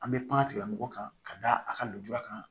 An bɛ kuma tigilamɔgɔw kan ka da a ka lujura kan